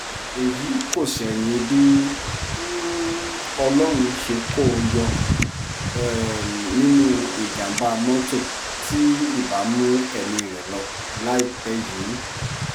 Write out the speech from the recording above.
èyí kò ṣẹ̀yìn bí um ọlọ́run ṣe kó o yọ um nínú ìjàm̀bá mọ́tò tí ibà mú ẹ̀mí rẹ lọ láìpẹ́ yìí